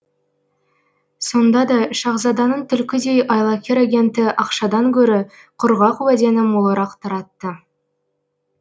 сонда да шаһзаданың түлкідей айлакер агенті ақшадан гөрі құрғақ уәдені молырақ таратты